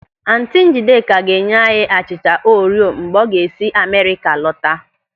Ántị̀ Ńjídėkà ga-enye anyị achịcha Orio mgbe ọ ga-esi Amerịka lọta.